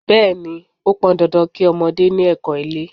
Bẹẹni, ó pọn dandan kí ọmọdé ni ẹkọ́ ilé.